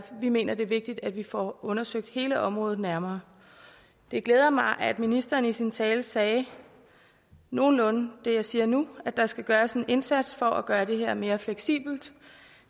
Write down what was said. vi mener det er vigtigt at vi får undersøgt hele området nærmere det glæder mig at ministeren i sin tale sagde nogenlunde det jeg siger nu at der skal gøres en indsats for at gøre det her mere fleksibelt